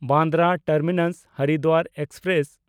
Bandra ᱴᱟᱨᱢᱤᱱᱟᱥ–ᱦᱚᱨᱤᱫᱽᱫᱟᱨ express